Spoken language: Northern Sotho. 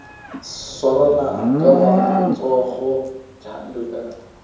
swarane ka matsogo bjalo ka